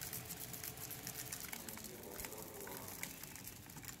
найди аватар два